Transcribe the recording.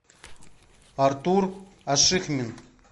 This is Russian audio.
артур ашихмин